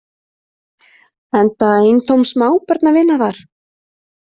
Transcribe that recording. Enda eintóm smábörn að vinna þar.